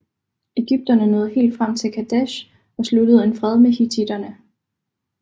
Ægypterne nåede helt frem til Kadesh og sluttede en fred med hittitterne